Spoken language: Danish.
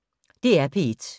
DR P1